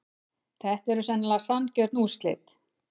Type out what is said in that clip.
Þetta eru sennilega sanngjörn úrslit.